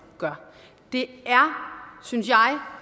gør det synes jeg er